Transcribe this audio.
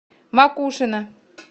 макушино